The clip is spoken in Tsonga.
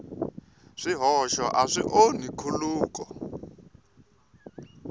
swihoxo a swi onhi nkhuluko